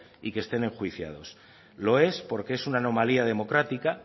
y que estén enjuiciados lo es porque es una anomalía democrática